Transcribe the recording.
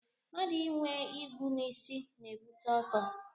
Mmadụ inwe igwu n'isi na-ebute ọkọ